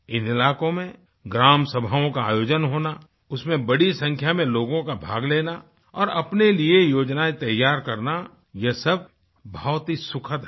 इन इलाकों में ग्राम सभाओं का आयोजन होना उसमें बड़ी संख्या में लोगों का भाग लेना और अपने लिएयोजनाएँ तैयार करना यह सब बहुत ही सुखद है